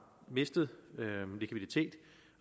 mistet likviditet